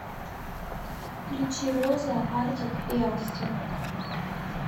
включи роза артик и асти